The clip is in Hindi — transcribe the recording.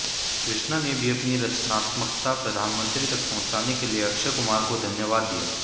कृष्णा ने भी अपनी रचनात्मकता प्रधानमंत्री तक पहुँचाने के लिए अक्षय कुमार को धन्यवाद दिया